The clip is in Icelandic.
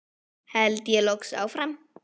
held ég loks áfram.